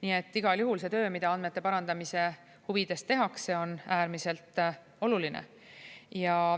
Nii et igal juhul see töö, mida andmete parandamise huvides tehakse, on äärmiselt oluline.